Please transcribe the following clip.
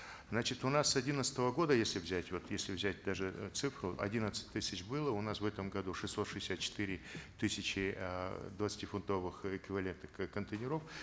значит у нас с одиннадцатого года если взять вот если взять даже э цифру одиннадцать тысяч было у нас в этом году шестьсот шестьдесят четыре тысячи эээ двадцатифунтовых эквивалентных контейнеров